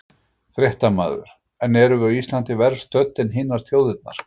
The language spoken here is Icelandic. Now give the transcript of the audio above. Fréttamaður: En erum við á Íslandi verr stödd en hinar þjóðirnar?